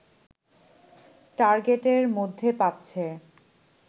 টার্গেটের মধ্যে পাচ্ছে